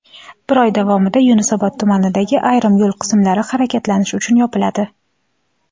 bir oy davomida Yunusobod tumanidagi ayrim yo‘l qismlari harakatlanish uchun yopiladi:.